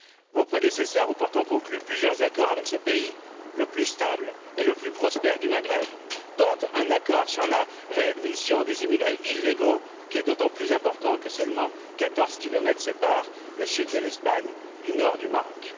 Vos prédécesseurs ont pourtant conclu plusieurs accords avec ce pays, le plus stable et le plus prospère du Maghreb, dont un accord sur la réadmission des immigrés illégaux, qui est d'autant plus important que seulement 14 kilomètres séparent le sud de l'Espagne du nord du Maroc.